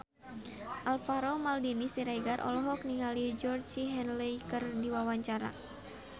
Alvaro Maldini Siregar olohok ningali Georgie Henley keur diwawancara